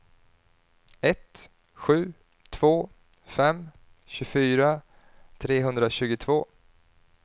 ett sju två fem tjugofyra trehundratjugotvå